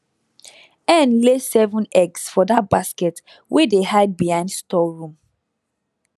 hen lay seven eggs for that basket wey dey hide behind storeroom